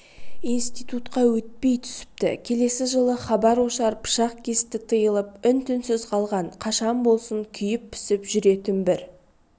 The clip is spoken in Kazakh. институтқа өтпей түсіпті келесі жылы хабар-ошар пышақ кесті тиылып үн-түнсіз қалған қашан болсын күйіп-пісіп жүретін бір